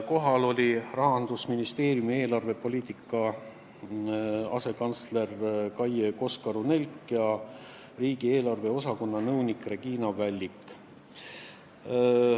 Kohal olid ka Rahandusministeeriumi eelarvepoliitika asekantsler Kaie Koskaru-Nelk ja riigieelarve osakonna nõunik Regina Vällik.